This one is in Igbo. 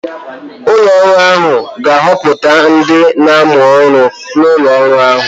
Ụlọ ọrụ ahụ ga-ahọpụta ndị na-amụ ọrụ n'ụlọ ọrụ ha.